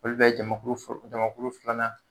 Olu bɛ jamakulu fɔlɔ jamkulu filanan